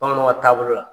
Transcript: Bamananw ka taabolo la